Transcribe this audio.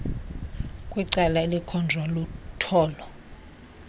kwicala elikhonjwa lutolo